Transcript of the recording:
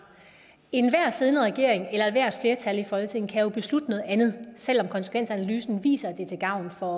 enhver siddende regering eller ethvert flertal i folketinget kan jo beslutte noget andet selv om konsekvensanalysen viser at det er til gavn for